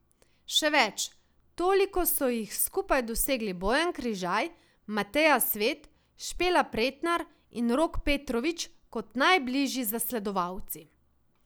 Še več, toliko so jih skupaj dosegli Bojan Križaj, Mateja Svet, Špela Pretnar in Rok Petrovič kot najbližji zasledovalci.